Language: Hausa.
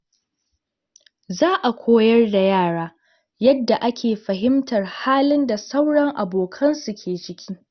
Za a koyar da yara yadda ake fahimtar halin da sauran abokansu ke ciki.